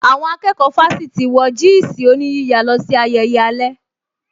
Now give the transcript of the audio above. Àwọn akẹ́kọ̀ọ́ fásítì wọ jị́ị̀sị̀ oníyíya lọ sí ayẹyẹ alẹ́